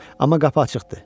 Amma qapı açıqdı.